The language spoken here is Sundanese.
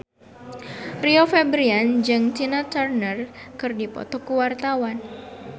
Rio Febrian jeung Tina Turner keur dipoto ku wartawan